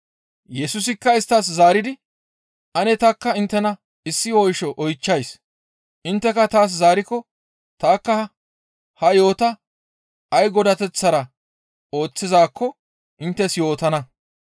Yesusikka isttas zaaridi, «Ane tanikka inttena issi oysho oychchays; intteka taas zaarikko tanikka ha yo7ota ay godateththara ooththizaakko inttes yootana.